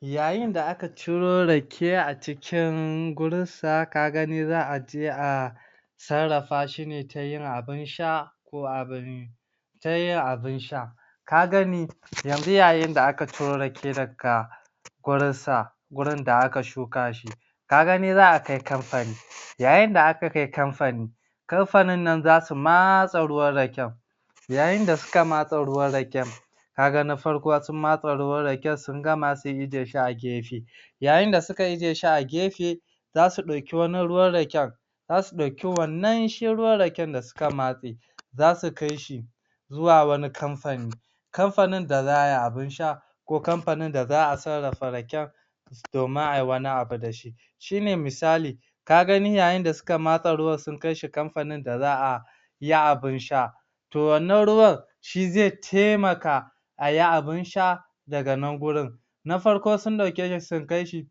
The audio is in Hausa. Yayin da aka ciro Rake a cikin wurin sa kaga za'a je a sarrafa shine ne tayin abin sha ko abin tayin abin sha ka gani yanzu yayin da aka ciro Rake daga wurin sa wurin da aka shukashi ka gani za'a kai kamfani yayin da aka kai kamfani kamfanin nan zasu matse ruwan Raken yayin da suka matse ruwan Raken kaga na farko za matse ruwan Raken sun gama zasu ijjiye shi a gefe yayi da suka ijjiye shi a gefe zasu ɗauki wani ruwan Raken zasu ɗauki wannan shi ruwan Raken da suka matse zasu kai shi zuwa kamfani kamfanin da za'a yi abin sha ko kamfani da za'a sarrafa Raken domin ayi wani abu dashi shine misali ka gani yayi da suka matse ruwan sun kai shi kamfani da za'a yi abin sha to wannan ruwan shi zai taimaka ayi abin sha daga nan wurin na farko sun ɗauke shi sun kai shi